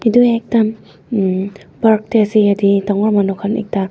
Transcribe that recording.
etu ekta um um park te ase dagur monu khan ekta--